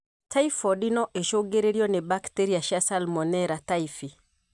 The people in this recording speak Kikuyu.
Typhoidi no ĩcũngĩrĩrio nĩ bacteria cia Salmonella typhi.